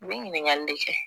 N bɛ ɲininkali de kɛ